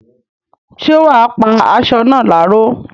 ṣé wà á pá asọ náà láró?